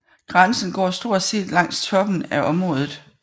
Grænsen går stort set langs toppen af området